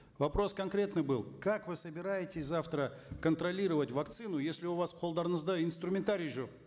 вопрос конкретный был как вы собираетесь завтра контролировать вакцину если у вас қолдарыңызда инструментарий жоқ